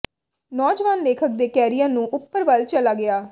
ਨੌਜਵਾਨ ਲੇਖਕ ਦੇ ਕੈਰੀਅਰ ਨੂੰ ਉੱਪਰ ਵੱਲ ਚਲਾ ਗਿਆ